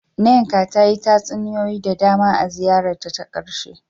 Nneka ta yi tatsuniyoyi da dama a ziyarar ta ta karshe.